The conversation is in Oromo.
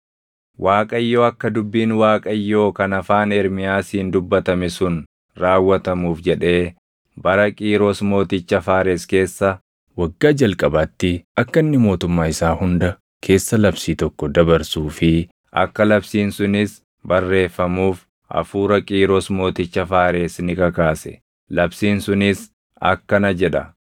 Waaqayyo akka dubbiin Waaqayyoo kan afaan Ermiyaasiin dubbatame sun raawwatamuuf jedhee bara Qiiros mooticha Faares keessa waggaa jalqabaatti akka inni mootummaa isaa hunda keessa labsii tokko dabarsuu fi akka labsiin sunis barreeffamuuf hafuura Qiiros mooticha Faares ni kakaase; labsiin sunis akkana jedha: